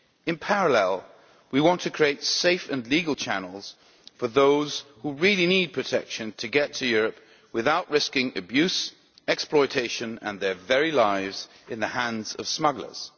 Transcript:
In parallel, we want to create safe and legal channels for those who really need protection to get to Europe without risking abuse, exploitation and their very lives in the hands of smugglers.